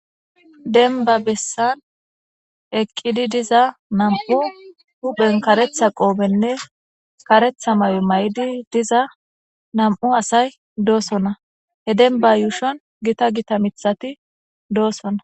denba bessan eqqidi diza nam7u huphen karetha qoobenne karetha may7o may7di diza nam7u asay doosona he denba yuushon gita gita mithati doossona